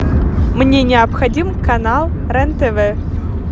мне необходим канал рен тв